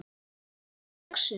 Svo er það laxinn.